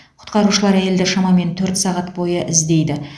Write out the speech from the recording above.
құтқарушылар әйелді шамамен төрт сағат бойы іздейді